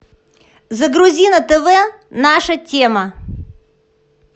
загрузи на тв наша тема